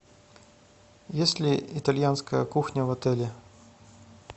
есть ли итальянская кухня в отеле